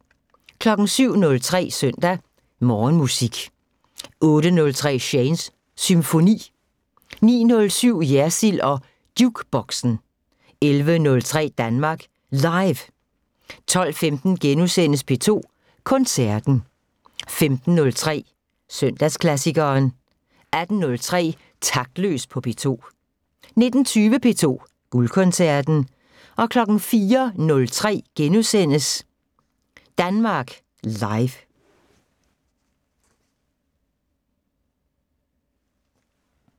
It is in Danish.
07:03: Søndag Morgenmusik 08:03: Shanes Symfoni 09:07: Jersild og Jukeboxen 11:03: Danmark Live 12:15: P2 Koncerten * 15:03: Søndagsklassikeren 18:03: Taktløs på P2 19:20: P2 Guldkoncerten 04:03: Danmark Live *